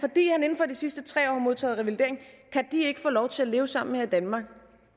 sidste tre år har modtaget revalidering kan de ikke få lov til at leve sammen her i danmark